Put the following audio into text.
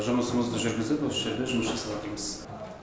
жұмысымызды жүргізіп осы жерде жұмыс жасаватырмыз